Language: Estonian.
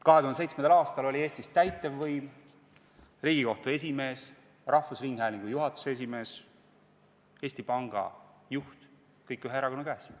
2007. aastal oli Eestis täitevvõim, Riigikohtu esimees, rahvusringhäälingu juhatuse esimees, Eesti Panga juht – kõik oli ühe erakonna käes.